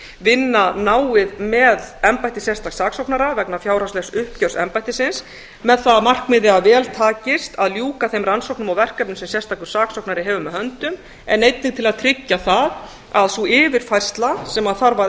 vinna náið með embætti sérstaks saksóknara vegna fjárhagslegs uppgjörs embættisins með það að markmiði að vel takist að ljúka þeim rannsóknum og verkefnum sem sérstakur saksóknari hefur með höndum en einnig til að tryggja það að sú yfirfærsla sem þarf að